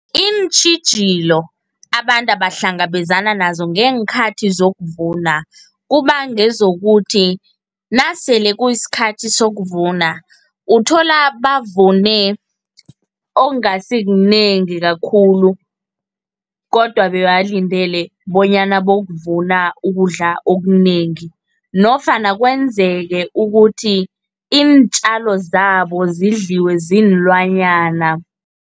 Iintjhijilo abantu abahlangabezana nazo ngeenkhathi zokuvuna, kuba ngezokuthi nasele kusikhathi sokuvuna, uthola bavune okungasikunengi kakhulu, kodwa bebalindele bonyana bayokuvuna ukudla okunengi, nofana kwenzeke ukuthi iintjalo zabo zidliwe ziinlwanyana.